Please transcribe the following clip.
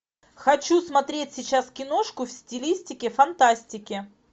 хочу смотреть сейчас киношку в стилистике фантастики